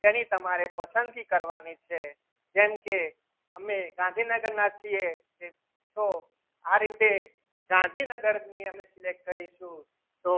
તેની તમારી પસંદગી કરવાની છે જેમ કે અમે ગાંધીનગરના છીએ તો આ રીતે ગાંધીનગરની અને select કરીશું તો